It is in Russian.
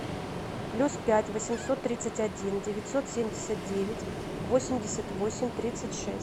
плюс пять восемьсот тридцать один девятьсот семьдесят девять восемьдесят восемь тридцать шесть